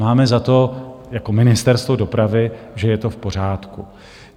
Máme za to jako Ministerstvo dopravy, že je to v pořádku.